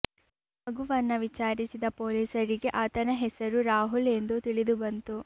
ಮಗುವನ್ನ ವಿಚಾರಿಸಿದ ಪೊಲೀಸರಿಗೆ ಆತನ ಹೆಸರು ರಾಹುಲ್ ಎಂದು ತಿಳಿದು ಬಂತು